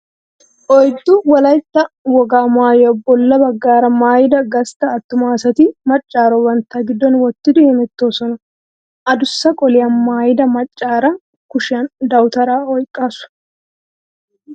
Oyddu Wolaytta wogaa maayuwa bolla baggaara maayida gastta attuma asati maccaaro bantta giddon wottidi hemettoosona. Adussa qoliya maayida maccaara kushiyan dawutaraa oyqqaasu.